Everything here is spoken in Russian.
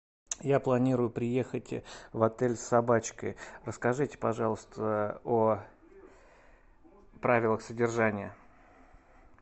я планирую приехать в отель с собачкой расскажите пожалуйста о правилах содержания